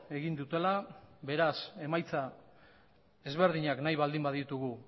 egin dutela beraz emaitza desberdinak nahi baldin baditugu